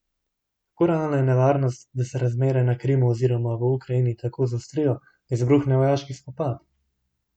Kako realna je nevarnost, da se razmere na Krimu oziroma v Ukrajini tako zaostrijo, da izbruhne vojaški spopad?